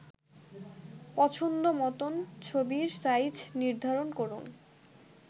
পছন্দ মতন ছবির সাইজ নির্ধারন করুন